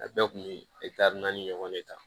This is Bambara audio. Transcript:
A bɛɛ kun bɛ naani ɲɔgɔn de ta